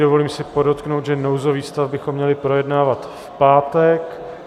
Dovolím si podotknout, že nouzový stav bychom měli projednávat v pátek.